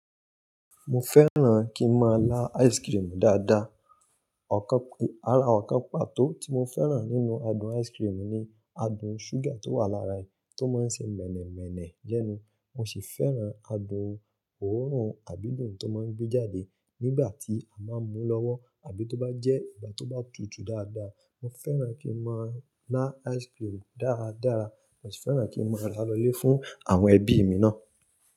Mo fẹ́ràn kí n máa lá ice cream dáadáa. Ọ̀kan, ara àwọn ọ̀kan pàtó tí mo fẹ́ràn nínú adùn ice cream ni adùn ṣúgà tó wà lára re tó máa ń ṣe mènèmènè lẹnu. Mo sì fẹ́ràn adùn òórùn àbí dùn tó máa ń gbé jáde nígbà tí a máa ń mú lọ́wọ́ àbí tó bá jẹ́ ìgbà tó bá tutù dáadáa. Mo fẹ́ràn kí n máa lá ice cream dáradára. Mo sì fẹ́ràn kí n máa rá lọlé fún àwọn ẹbí mi náà.